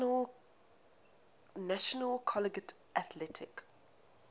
national collegiate athletic